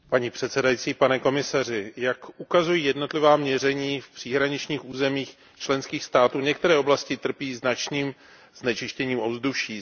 Paní předsedající, jak ukazují jednotlivá měření v příhraničních územích členských států, některé oblasti trpí značným znečištěním ovzduší.